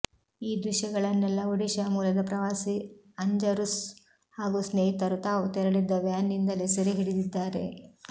ಈ ದೃಶ್ಯಗಳನ್ನೆಲ್ಲ ಒಡಿಶಾ ಮೂಲದ ಪ್ರವಾಸಿ ಅಂಜರುಸ್ಸ್ ಹಾಗೂ ಸ್ನೇಹಿತರು ತಾವು ತೆರಳಿದ್ದ ವ್ಯಾನ್ ನಿಂದಲೇ ಸೆರೆ ಹಿಡಿದಿದ್ದಾರೆ